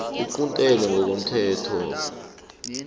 iquntelwe ngokomthetho lo